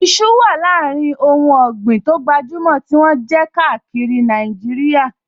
Iṣu wà láàrin àwọn ohùn ọ̀gbìn tó gbajúmọ̀ tí wọ́n jẹ káàkiri Nàìjíríà